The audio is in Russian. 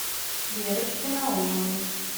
верочке наумовой